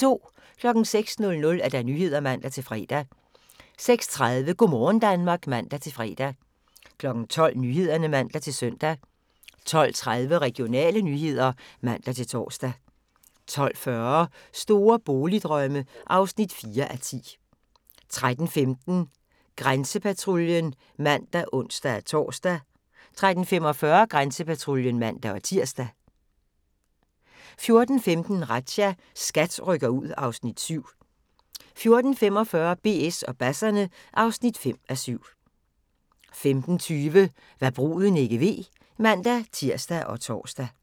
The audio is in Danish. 06:00: Nyhederne (man-fre) 06:30: Go' morgen Danmark (man-fre) 12:00: Nyhederne (man-søn) 12:30: Regionale nyheder (man-tor) 12:40: Store boligdrømme (4:10) 13:15: Grænsepatruljen (man og ons-tor) 13:45: Grænsepatruljen (man-tir) 14:15: Razzia – SKAT rykker ud (Afs. 7) 14:45: BS og basserne (5:7) 15:20: Hva' bruden ikke ved (man-tir og tor)